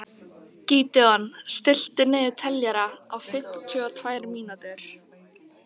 Gídeon, stilltu niðurteljara á fimmtíu og tvær mínútur.